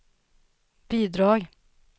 bidrag